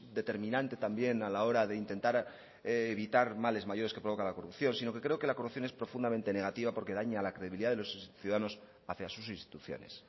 determinante también a la hora de intentar evitar males mayores que provoca la corrupción sino que creo que la corrupción es profundamente negativa porque daña la credibilidad de los ciudadanos hacia sus instituciones